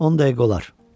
10 dəqiqə olar.